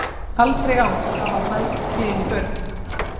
Aldrei áður hafa fæðst fleiri börn